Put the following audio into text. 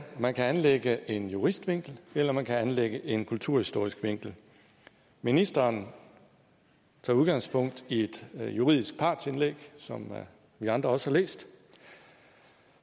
man kan anlægge en juristvinkel eller man kan anlægge en kulturhistorisk vinkel ministeren tager udgangspunkt i et juridisk partsindlæg som vi andre også har læst